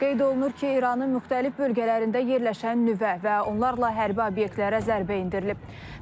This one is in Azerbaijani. Qeyd olunur ki, İranın müxtəlif bölgələrində yerləşən nüvə və onlarla hərbi obyektlərə zərbə endirilib.